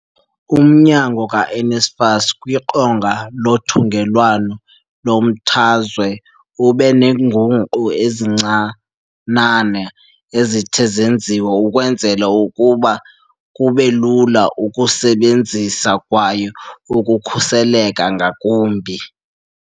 Umnyango ka-NSFAS kwiqonga lothungelwano lomthazwe ube neenguqu ezincinane ezithe zenziwa ukwenzela ukuba kube lula ukusebenzisa kwaye ukhuseleke ngakumbi.